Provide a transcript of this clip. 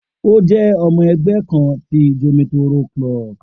O je omo egbe kan ti Jomitoro club